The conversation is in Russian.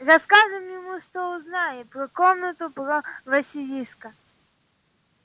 расскажем ему что узнали про комнату про василиска